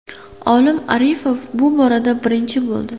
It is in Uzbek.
Olim Arifov bu borada birinchi bo‘ldi.